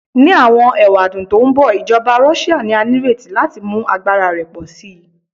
Ni awọn ewadun to nbọ, ijọba Russia ni a nireti lati mu agbara rẹ pọ si